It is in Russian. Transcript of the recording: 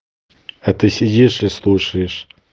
а ты сидишь и слушаешь